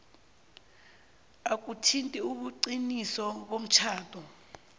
akuthinti ubuqiniso bomtjhado